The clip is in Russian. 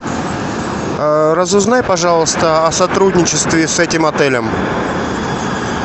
разузнай пожалуйста о сотрудничестве с этим отелем